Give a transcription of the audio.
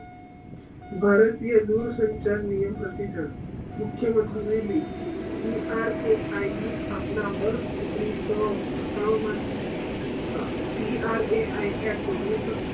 ભારતીય દુરસંસાર નિયમ મુખ્ય વત હવેલી ટી આર એ આઈબી ની સ્થાપના વર્ષ ઓગ્નીશ સૌ સત્તાવન મા T R A I act ઓઘીન્સ સૌ